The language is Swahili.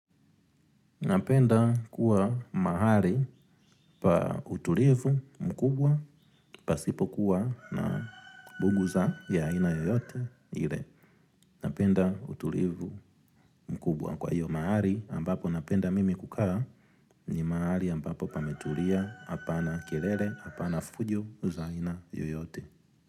Napenda kuwa mahali pa utulivu mkubwa pasipo kuwa na mbugu za ya aina yoyote ile. Napenda utulivu mkubwa kwah iyo mahali ambapo napenda mimi kukaa ni mahali ambapo pametulia hapana kelele hapana fujo za aina yoyote.